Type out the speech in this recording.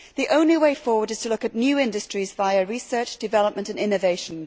The only way forward is to look at new industries via research, development and innovation.